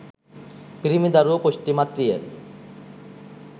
පිරිමි දරුවා පුෂ්ටිමත් විය.